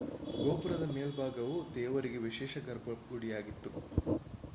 ಗೋಪುರದ ಮೇಲ್ಭಾಗವು ದೇವರಿಗೆ ವಿಶೇಷ ಗರ್ಭಗುಡಿಯಾಗಿತ್ತು